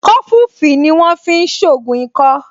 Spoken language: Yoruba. Kọfufíì ni wọ́n fi ń ṣògùn ikọ́